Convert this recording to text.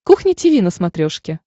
кухня тиви на смотрешке